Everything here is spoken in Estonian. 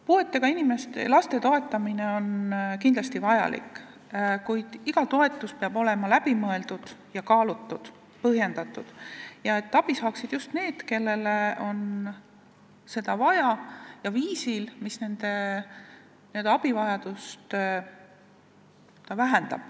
Puuetega laste toetamine on kindlasti vajalik, kuid iga toetus peab olema läbi mõeldud, kaalutud ja põhjendatud, et abi saaksid just need, kellel on seda vaja, ja viisil, mis nende abivajadust vähendab.